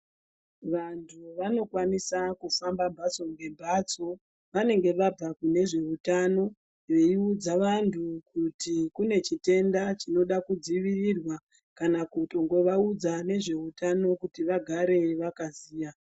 Vantu vanokwanisa kufamba mbatso ngembatso vanenge vabva nezve utano veiudza vantu kuti kune chitenda chinode kudzivirirwa kana kutongovaudza nezveutano kuti vagare vakaziya .